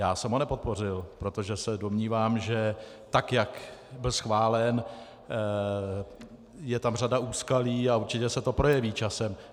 Já jsem ho nepodpořil, protože se domnívám, že tak jak byl schválen, je tam řada úskalí a určitě se to projeví časem.